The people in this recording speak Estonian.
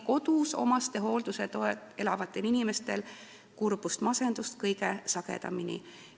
Kodus omastehoolduse toel elavatel inimestel on kurbust ja masendust kõige sagedamini.